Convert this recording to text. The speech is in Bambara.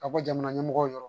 Ka bɔ jamana ɲɛmɔgɔw ye